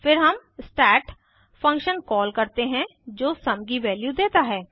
फिर हम stat function call करते हैं जो सुम की वैल्यू देता है